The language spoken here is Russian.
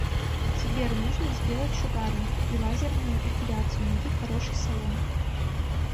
сбер нужно сделать шугаринг и лазерную эпиляцию найди хороший салон